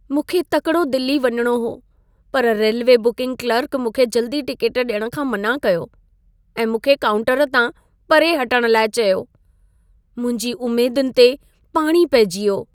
मूंखे तकिड़ो दिल्ली वञणो हो। पर रेल्वे बुकिंग क्लर्क मूंखे जल्दी टिकेट ॾियणु खां मना कयो ऐं मूंखे काउंटर तां परे हटणु लाइ चयो। मुंहिंजी उमेदुनि ते पाणी पेइजी वियो।